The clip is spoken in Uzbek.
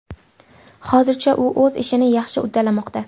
Hozircha u o‘z ishini yaxshi uddalamoqda.